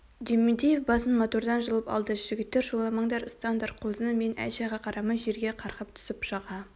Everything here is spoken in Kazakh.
дементьев басын мотордан жұлып алды жігіттер шуламаңдар ұстаңдар қозыны мен әй-шайға қарамай жерге қарғып түсіп жаға